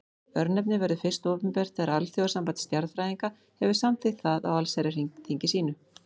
Örnefnið verður fyrst opinbert þegar Alþjóðasamband stjarnfræðinga hefur samþykkt það á allsherjarþingi sínu.